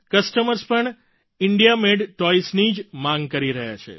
customers પણ India made toys ની જ માગ કરી રહ્યા છે